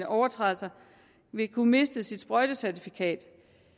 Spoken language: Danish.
overtrædelser vil kunne miste sit sprøjtecertifikat